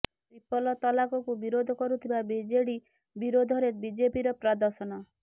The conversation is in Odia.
ଟ୍ରିପଲ ତଲାକକୁ ବିରୋଧ କରୁଥିବା ବିଜେଡି ବିରୋଧରେ ବିଜେପିର ପ୍ରଦର୍ଶନ